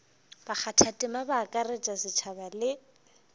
bakgathatema ba akaretša setšhaba le